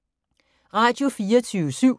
Radio24syv